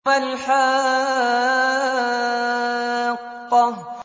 مَا الْحَاقَّةُ